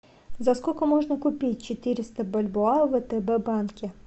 за сколько можно купить четыреста бальбоа в втб банке